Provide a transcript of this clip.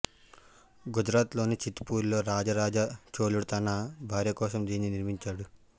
గుజరాత్ లోని చిత్ పూర్ లో రాజ రాజ చోళుడు తన భార్య కోసం దీన్ని నిర్మించాడు